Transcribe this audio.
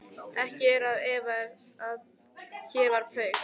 Ekki er að efa, að hér var Paul